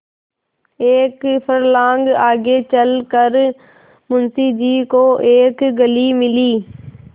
एक फर्लांग आगे चल कर मुंशी जी को एक गली मिली